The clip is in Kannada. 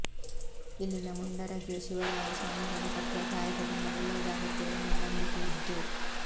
ಇಲ್ಲಿನ ಮುಂಡರಗಿಯ ಶಿವರಾಯಸ್ವಾಮಿಗಳು ಕಟ್ಟುವ ತಾಯತದಿಂದ ಒಳ್ಳೆಯದಾಗುತ್ತೆ ಎನ್ನುವ ನಂಬಿಕೆ ಇದ್ದು